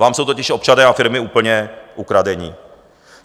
Vám jsou totiž občané a firmy úplně ukradeni.